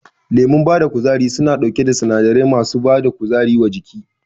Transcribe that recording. Lemon bada kuzari suna ɗauke da sinadarai masu bada kuzari wa jiki